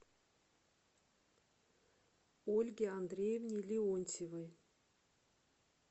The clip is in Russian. ольге андреевне леонтьевой